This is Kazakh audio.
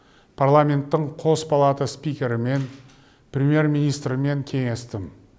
парламенттің қос палата спикерімен премьер министрмен кеңестім